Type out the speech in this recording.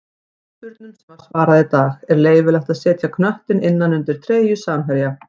Fyrirspurnum sem var svarað í dag:-Er leyfilegt að setja knöttinn innan undir treyju samherja?